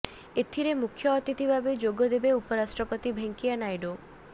ଏଥିରେ ମୁଖ୍ୟ ଅତିଥି ଭାବେ ଯୋଗ ଦେବେ ଉପରାଷ୍ଟ୍ରପତି ଭେଙ୍କିୟା ନାଇଡୁ